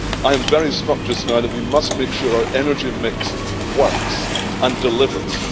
I am very struck just now that we must make sure our energy mix works and delivers.